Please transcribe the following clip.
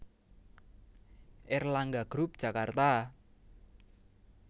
Erlangga group Jakarta